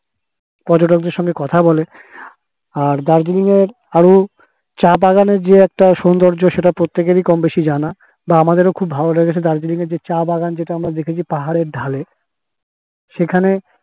পর্যটক দেড় সঙ্গে কথা বলে আর দার্জিলিং এর আরো চা বাগানের যে একটা সৌন্দর্য সেটা প্রত্যেকেরই কম বেশি জানা তো আমাদের খুব ভালো লেগেছে দার্জিলিং এর যে চা বাগান যেটা আমরা দেখেছি পাহাড়ের ঢালে সেখানে